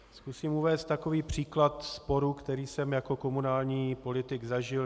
Zkusím uvést takový příklad sporu, který jsem jako komunální politik zažil.